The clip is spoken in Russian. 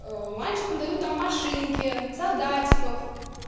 мальчикам дают там машинки солдатиков